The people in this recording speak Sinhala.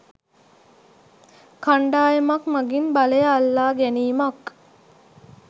කණ්ඩායමක් මගින් බලය අල්ලා ගැනීමක්